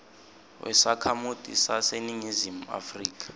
wesakhamuti saseningizimu afrika